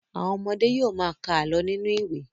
Àwọn ọmọdé yóò ma ka àlọ́ nínú ìwé.